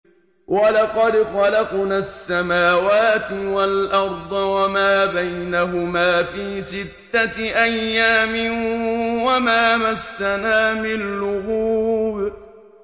وَلَقَدْ خَلَقْنَا السَّمَاوَاتِ وَالْأَرْضَ وَمَا بَيْنَهُمَا فِي سِتَّةِ أَيَّامٍ وَمَا مَسَّنَا مِن لُّغُوبٍ